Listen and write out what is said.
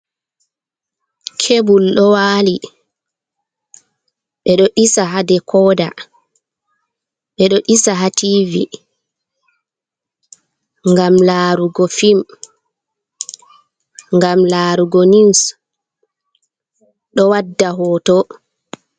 Kebul ɗo waali ,ɓed ɗo ɗisa haa dekoda, ɓe ɗo ɗisa haa tiivi ,ngam laarugo fim ,ngam laarugo niwus, ɗo wadda hooto.